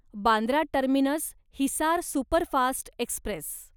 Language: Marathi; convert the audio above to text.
Bandra terminus Hisar superfast Express